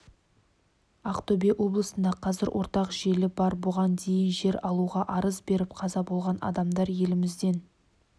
ақтөбе облысында қазір ортақ желі бар бұған дейін жер алуға арыз беріп қаза болған адамдар елімізден